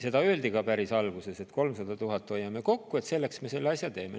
Seda öeldi ka päris alguses, et 300 000 eurot hoiame kokku, selleks me selle asja teeme.